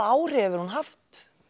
áhrif hefur hún haft